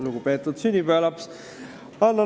Lugupeetud sünnipäevalaps!